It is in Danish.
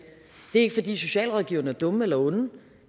er ikke fordi socialrådgiverne er dumme eller onde